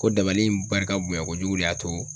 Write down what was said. Ko dabali in barika bonya kojugu de y'a to